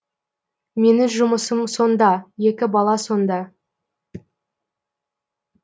менің жұмысым сонда екі бала сонда